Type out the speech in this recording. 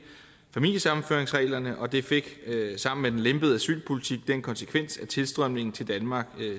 familiesammenføringsreglerne og det fik sammen med den lempede asylpolitik den konsekvens at tilstrømningen til danmark